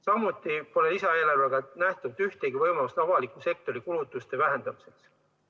Samuti pole lisaeelarvega ette nähtud ühtegi võimalust avaliku sektori kulutuste vähendamiseks.